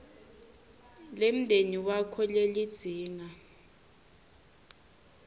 lemndeni wakho lelidzinga